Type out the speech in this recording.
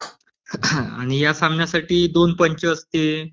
आणि ह्या सामन्यासाठी दोन पंच असते.